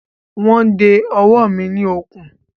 Wọ́n de ọwọ́ mi ní okùn.